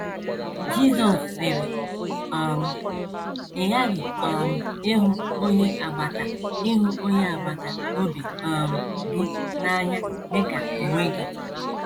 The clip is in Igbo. Jizọs sịrị: um “ Ị ghaghị um ịhụ onye agbata ịhụ onye agbata obi um gị n’anya dị ka onwe gị. ”